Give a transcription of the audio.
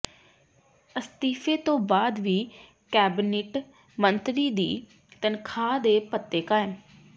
ਅਸਤੀਫ਼ੇ ਤੋਂ ਬਾਅਦ ਵੀ ਕੈਬਨਿਟ ਮੰਤਰੀ ਦੀ ਤਨਖ਼ਾਹ ਤੇ ਭੱਤੇ ਕਾਇਮ